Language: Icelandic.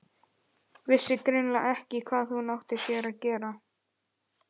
Vissi greinilega ekki hvað hún átti af sér að gera.